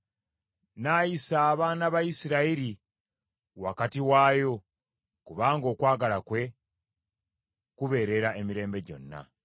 N’ayisa abaana ba Isirayiri wakati waayo, kubanga okwagala kwe kubeerera emirembe gyonna.